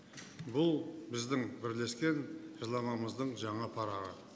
бұл біздің бірлескен жылнамамыздың жаңа парағы